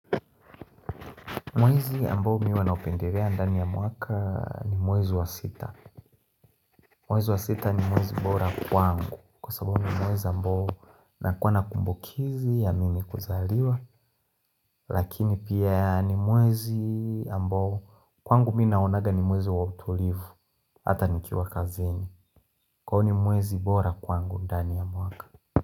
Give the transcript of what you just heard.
Mwezi ambao mi huwa naupenderea ndani ya mwaka, ni mwezi wa sita. Mwezi wa sita ni mwezi bora kwangu Kwa sababu ni mwezi ambao nakuwa nakumbukizi ya mimi kuzaliwa Lakini pia ni mwezi ambao kwangu mi naonaga ni mwezi wa utulivu Hata nikiwa kazini, Kwa ni mwezi bora kwangu ndani ya mwaka.